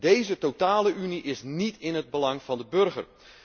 Deze totale unie is niet in het belang van de burger.